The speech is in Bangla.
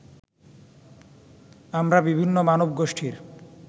আমরা বিভিন্ন মানবগোষ্ঠীর